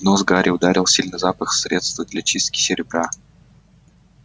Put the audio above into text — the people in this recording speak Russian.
в нос гарри ударил сильный запах средства для чистки серебра